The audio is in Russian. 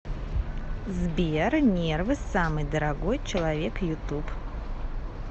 сбер нервы самый дорогой человек ютуб